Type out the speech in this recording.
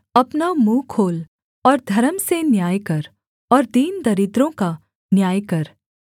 अपना मुँह खोल और धर्म से न्याय कर और दीन दरिद्रों का न्याय कर